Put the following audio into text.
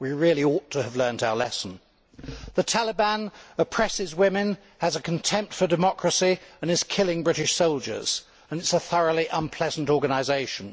we really ought to have learnt our lesson. The Taliban oppresses women, has contempt for democracy and is killing British soldiers it is a thoroughly unpleasant organisation.